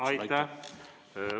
Aitäh!